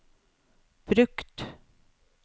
brukt